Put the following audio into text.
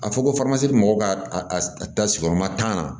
A fɔ ko mɔgɔw ka ta sigiyɔrɔma tan na